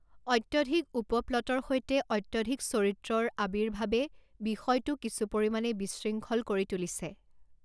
অত্যধিক উপ প্লটৰ সৈতে অত্যধিক চৰিত্ৰৰ আৱিৰ্ভাৱে বিষয়টো কিছু পৰিমাণে বিশৃংখল কৰি তুলিছে।